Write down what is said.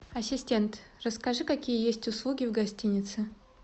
ассистент расскажи какие есть услуги в гостинице